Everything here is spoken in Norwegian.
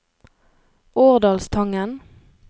Årdalstangen